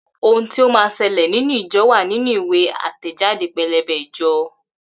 Ohun tí ó máa ṣẹlẹ̀ nínú ìjọ wá nínú ìwé àtẹ̀jáde pẹ́lẹ́bẹ́ ìjọ